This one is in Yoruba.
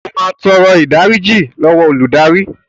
O máa tọrọ ìdáríjì lọ́wọ́ olùdarí.